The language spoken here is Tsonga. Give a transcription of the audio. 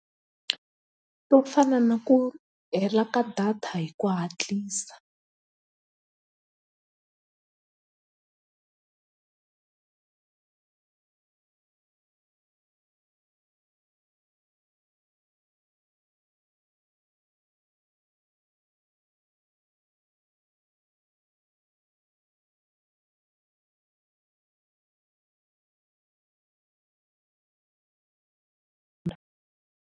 To fana na ku hela ka data hi ku hatlisa.